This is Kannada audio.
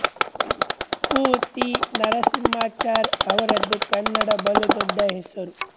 ಪು ತಿ ನರಸಿಂಹಾಚಾರ್ ಅವರದು ಕನ್ನಡ ಬಲು ದೊಡ್ಡ ಹೆಸರು